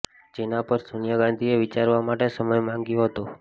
જેના પર સોનિયા ગાંઘીએ વિચારવા માટે સમય માંગ્યો હતો